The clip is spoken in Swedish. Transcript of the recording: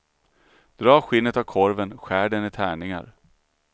Dra skinnet av korven, skär den i tärningar.